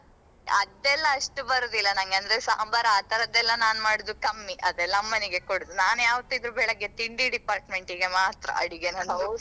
ಅದೆಲ್ಲಾ ಅಷ್ಟು ಬರುದಿಲ್ಲಾ ನಂಗೆ ಅಂದ್ರೆ ಸಾಂಬಾರು ಆತರದೆಲ್ಲಾ ನಾನು ಮಾಡುದು ಕಮ್ಮಿ ಅದೆಲ್ಲಾ ಅಮ್ಮನಿಗೆ ಕೊಡುದು ನಾನ್ ಯಾವತಿದ್ರು ಬೆಳಿಗ್ಗೆ ತಿಂಡಿ department ಗೆ ಮಾತ್ರ ಅಡಿಗೆ .